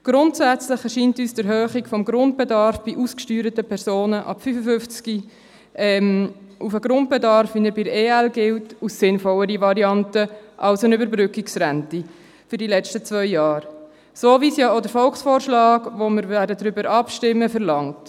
Grundsätzlich erscheint uns die Erhöhung des Grundbedarfs bei ausgesteuerten Personen ab 55 Jahren, wie er bei den Ergänzungsleistungen (EL) gilt, als sinnvollere Variante als eine Überbrückungsrente für die letzten zwei Jahre – so, wie es ja auch der Volksvorschlag verlangt, über den wir abstimmen werden.